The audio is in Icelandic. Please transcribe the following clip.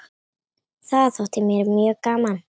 Það þótti mér mjög gaman.